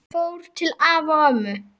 Fór til afa og ömmu.